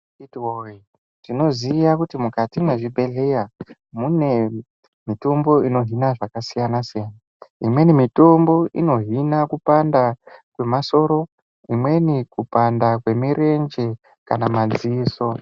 Akiti woye tinoziya kuti mukati mwezvibhehleya mune mutombo inohina zvakasiyana-siyana. Imweni mitombo inohina kupanda kwemasoro, imweni kupanda kwemirenje kana madziso.